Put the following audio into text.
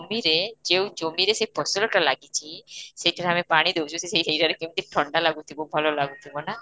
ରେ, ଯୋଉ ଜମି ରେ ସେ ଫସଲଟା ଲାଗିଛି ସେଇଥିରେ ଆମେ ପାଣି ଦଉଚୁ ସେ ସେଯାଗାରେ କେମିତି ଥଣ୍ଡା ଲାଗୁଥିବ, ଭଲ ଲାଗୁଥିବ ନା?